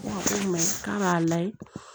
k'a b'a layɛ